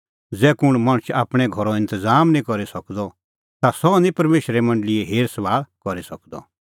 ज़ै कुंण मणछ आपणैं घरो इंतज़ाम निं करी सकदअ ता सह निं परमेशरे मंडल़ीए हेरभाल़ करी सकदअ